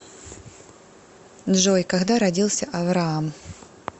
джой когда родился авраам